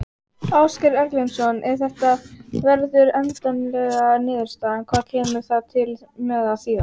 Ásgeir Erlendsson: Ef að þetta verður endanleg niðurstaða, hvað kemur það til með að þýða?